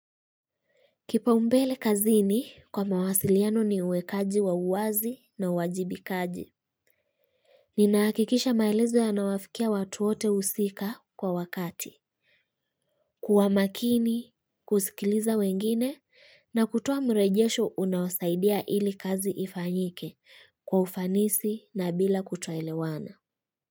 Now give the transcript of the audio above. Kipa umbele kazini kwa mawasiliano ni uwekaji wa uwazi na uwajibikaji. Nina hakikisha maelezo yanawafikia watu wote husika kwa wakati. Kuwa makini, kusikiliza wengine na kutoa mrejesho unawasaidia ili kazi ifanyike kwa ufanisi na bila kuto elewana.